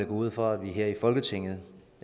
ud fra at vi her i folketinget